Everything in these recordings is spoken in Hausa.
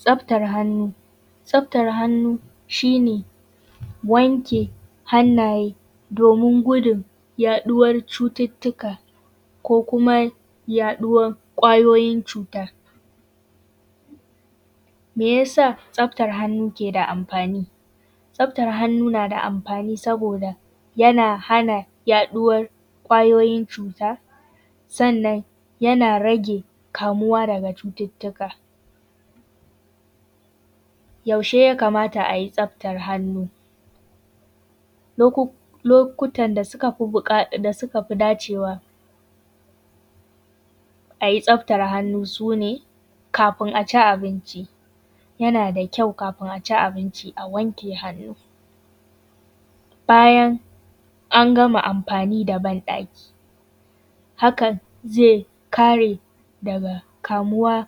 Tsaftar hannu. Tsaftar hannu shi ne wanke hannaye domin gudun yaɗuwar cututtuka, ko kuma yaɗuwar ƙwayoyin cuta. Me ya sa tsaftar hannu ke da amfani? Tsaftar hannu na da amfani saboda yana hana yaɗuwar ƙwayoyin cuta, sannan yana rage kamuwa daga cututtuka. Yaushe ya kamata a yi tsaftar hannu? Lukutan da suka fi dacewa a yi tsaftar hannu su ne, kafin a ci abinci. Yana da kyau kafin a ci abinci a wanke hannu, bayan an gama amfani da ban ɗaki, hakan zai kare daga kamuwa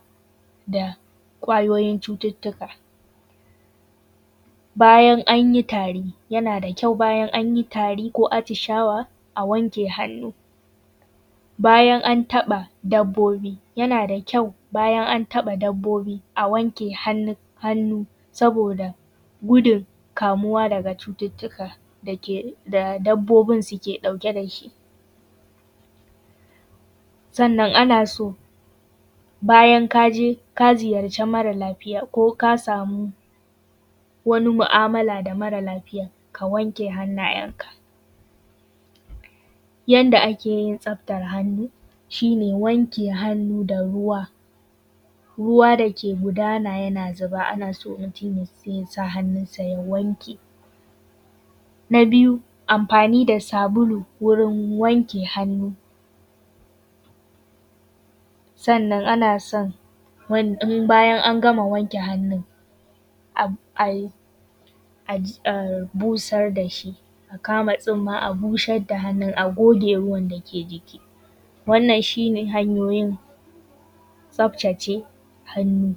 da ƙwayoyin cututtuka. Bayan an yi tari. Yana da kyau bayan an yi tari ko atishawa a wanke hannu. Bayan an taɓa dabbobi. Yana da kyau bayan an taɓa dabbobi a wanke hannu, saboda gudun kamuwa da cututtukan da dabbobin ke ɗauke da shi. Sannan ana so bayan ka je ka ziyarci mara lafiya, ko ka samu wani mu’amala da mara lafiya ka wanke hannayenka. Yanda ake yin tsaftar hannu, shi ne wanke hannu da ruwa, ruwa da ke gudana yake zuba ana so mutum ya sa hannunsa ya wanke. Na biyu amfani da sabulu wurin anke hannu. Sannan ana son bayan an gama wanke hannun, a busar da shi, a kama tsumma a busar da shi, a goge ruwan da ke ji. Wannan shine hanyoyin tsaftace hannu.